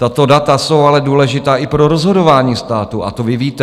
Tato data jsou ale důležitá i pro rozhodování státu a to vy víte.